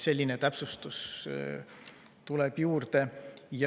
Selline täpsustus tuleb juurde.